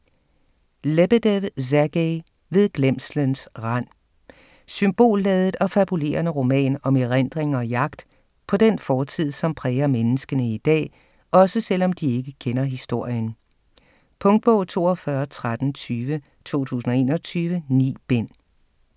Lebedev, Sergej: Ved glemslens rand Symbolladet og fabulerende roman om erindring og jagt på den fortid, som præger menneskene i dag - også selv om de ikke kender historien. Punktbog 421320 2021. 9 bind.